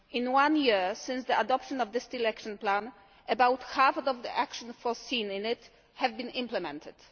In one year since the adoption of the Steel Action Plan, about half of the actions foreseen in it have been implemented.